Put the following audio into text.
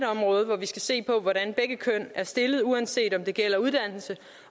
område hvor vi skal se på hvordan begge køn er stillet uanset om det gælder uddannelse